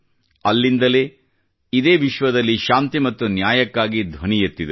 ಅಲ್ಲಿಂದಲೇ ಇದೇ ವಿಶ್ವದಲ್ಲಿ ಶಾಂತಿ ಮತ್ತು ನ್ಯಾಯಕ್ಕಾಗಿ ಧ್ವನಿ ಎತ್ತಿದರು